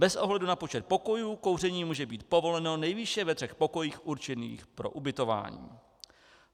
Bez ohledu na počet pokojů kouření může být povoleno nejvýše ve třech pokojích určených pro ubytování.